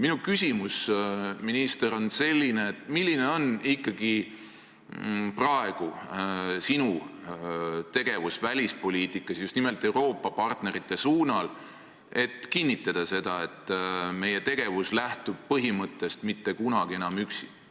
Minu küsimus, minister, on selline: milline on ikkagi praegu sinu tegevus välispoliitikas just nimelt Euroopa partnerite suunal kinnitamaks seda, et meie tegevus lähtub põhimõttest "Mitte kunagi enam üksi"?